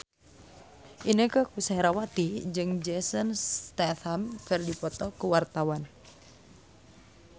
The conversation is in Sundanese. Inneke Koesherawati jeung Jason Statham keur dipoto ku wartawan